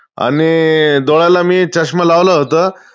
आणि डोळ्याला मी चष्मा लावला होता.